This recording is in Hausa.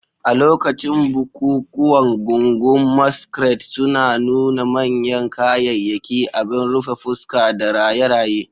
A lokacin bukukuwan, gungun maskrade suna nuna manyan kayayyaki, abin rufe fuska, da raye-raye.